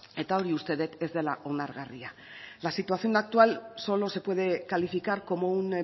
eta hori uste dut ez dela onargarria la situación actual solo se puede calificar como un